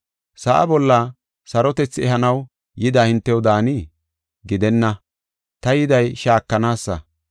Sa7a bolla sarotethi ehanaw yida hintew daanii? Gidenna, ta yiday shaakanaasa.